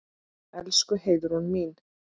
Elsku Heiðrún mín.